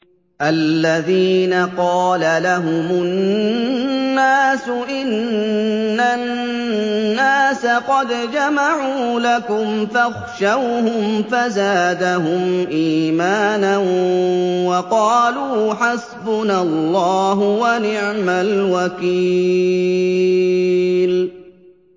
الَّذِينَ قَالَ لَهُمُ النَّاسُ إِنَّ النَّاسَ قَدْ جَمَعُوا لَكُمْ فَاخْشَوْهُمْ فَزَادَهُمْ إِيمَانًا وَقَالُوا حَسْبُنَا اللَّهُ وَنِعْمَ الْوَكِيلُ